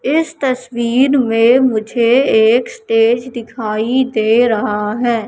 इस तस्वीर में मुझे एक स्टेज दिखाई दे रहा है।